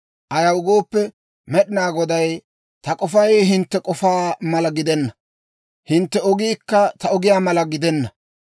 Ayaw gooppe, Med'inaa Goday, «Ta k'ofay hintte k'ofaa mala gidenna; hintte ogiikka ta ogiyaa mala gidenna.